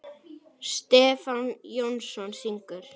Stefán Jónsson syngur.